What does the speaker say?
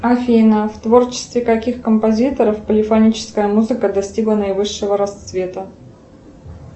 афина в творчестве каких композиторов полифоническая музыка достигла наивысшего расцвета